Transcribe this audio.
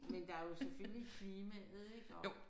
Men der er jo selvfølgelig klimaet ik og